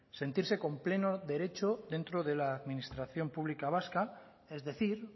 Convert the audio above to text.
sentirse con pleno derecho dentro de la administración pública vasca es decir